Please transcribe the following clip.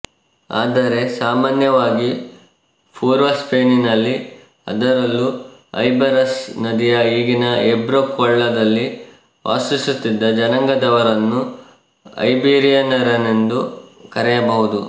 ಆದರೆ ಸಾಮಾನ್ಯವಾಗಿ ಪುರ್ವ ಸ್ಪೇನಿನಲ್ಲಿ ಅದರಲ್ಲೂ ಐಬರಸ್ ನದಿಯ ಈಗಿನ ಏಬ್ರೋ ಕೊಳ್ಳದಲ್ಲಿ ವಾಸಿಸುತ್ತಿದ್ದ ಜನಾಂಗದವರನ್ನು ಐಬೀರಿಯನರೆಂದು ಕರೆಯಬಹುದು